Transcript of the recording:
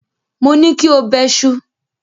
Mo ní kí o bẹṣu!